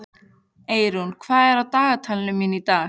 Eirún, hvað er á dagatalinu mínu í dag?